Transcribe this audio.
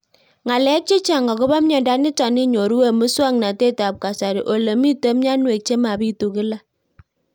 Ng'alek chechang' akopo miondo nitok inyoru eng' muswog'natet ab kasari ole mito mianwek che mapitu kila